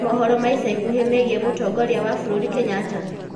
he mohoro ma ĩca ĩkũhĩ meegĩe mutongoria wa bururi kenyatta